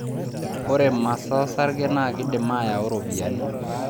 Ore masaa osarge naa keidim aayu ropiyiani.